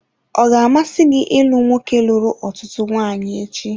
Ọ ga-amasị gị ịlụ nwoke lụrụ ọtụtụ nwanyị echi?